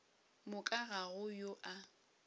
moka ga go yo a